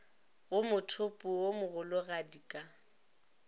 go mothopo wo mogologadi ka